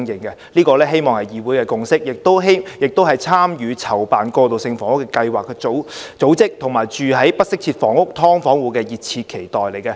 我希望這是議會的共識，亦是參與籌辦過渡性房屋計劃的組織，以及居住在不適切住房如"劏房戶"的熱切期待。